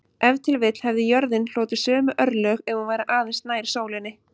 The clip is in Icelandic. Ef til vill hefði jörðin hlotið sömu örlög ef hún væri aðeins nær sólinni.